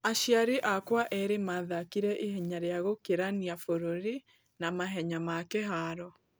Aciari akwa erĩ mathakire ihenya rĩa gũkĩrania bũruri na mahenya ma kĩharo.